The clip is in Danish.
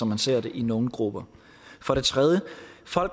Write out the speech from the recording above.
man ser det i nogle grupper for det tredje